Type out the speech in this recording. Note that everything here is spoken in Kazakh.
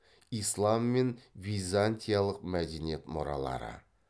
ислам мен византиялық мәдениет мұралары